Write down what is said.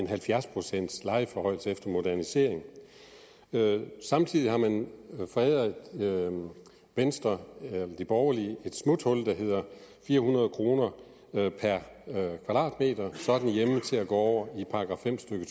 halvfjerds procent efter modernisering samtidig har man foræret venstre de borgerlige et smuthul der hedder fire hundrede kroner per kvadratmeter så er den hjemme til at gå over i § fem stykke